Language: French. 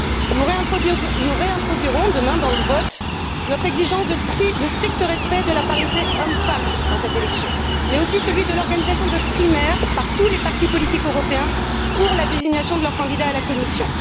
Nous réintroduirons demain, dans le vote, notre exigence de strict respect de la parité hommes femmes lors de cette élection, mais aussi celui de l'organisation de primaires par tous les partis politiques européens en vue de la désignation de leur candidat à la Commission.